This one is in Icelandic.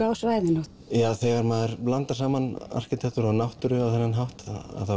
á svæðinu þegar maður blandar saman arkitektúr og náttúru á þennan hátt